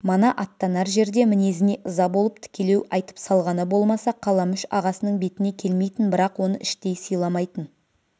мана аттанар жерде мінезіне ыза болып тікелеу айтып салғаны болмаса қаламүш ағасының бетіне келмейтін бірақ оны іштей сыйламайтын